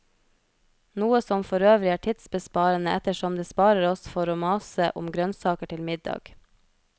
Noe som forøvrig er tidsbesparende ettersom det sparer oss for å mase om grønnsaker til middag.